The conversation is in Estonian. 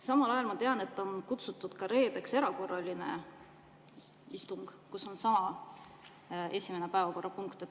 Samal ajal ma tean, et reedeks on kutsutud kokku erakorraline istung, kus on sama päevakorrapunkt.